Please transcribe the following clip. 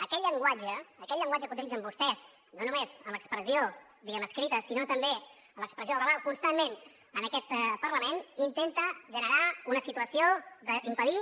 aquell llenguatge aquell llenguatge que utilitzen vostès no només en l’expressió diguem ne escrita sinó també en l’expressió verbal constantment en aquest parlament intenta generar una situació d’impedir